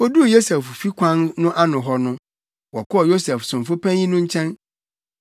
Woduu Yosef fi kwan no ano no, wɔkɔɔ Yosef somfo panyin no nkyɛn.